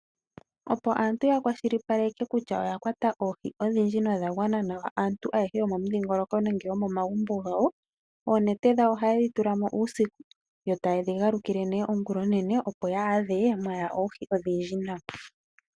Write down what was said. Opo aantu ya kwashilipale kutya oya kwata oohi dha gwana nawa, aantu ohaalaleke oonete momeya moka muna oohi, noonete ndhika ohayedhikuthamo ngele kwashi.